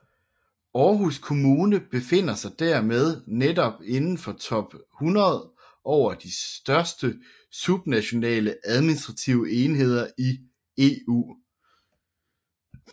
Aarhus Kommune befinder sig dermed netop inden for top 100 over de største subnationale administrative enheder i EU